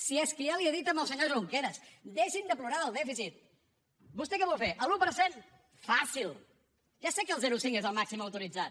si és que ja li he dit al senyor junqueras deixin de plorar del dèficit vostè què vol fer l’un per cent faci’l ja sé que el zero coma cinc és el màxim autoritzat